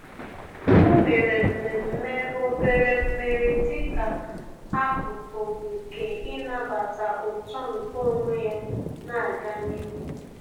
Ọ́ mèrè mmemme obere mmeri dịka ákụ́kụ́ nke ị́nàbàtá uto nke onwe ya nà-ágá n’ihu.